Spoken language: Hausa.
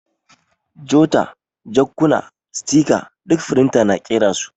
Jota, jakkuna, sitika ɗuk firinta na ƙera su.